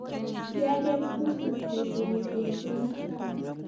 kiaker pusit kosupii sesee and sang